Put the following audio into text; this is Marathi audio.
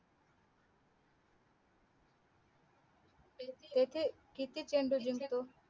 किती चेंडूंत जिंकतो